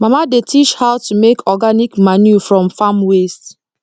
mama dey teach how to make organic manure from farm waste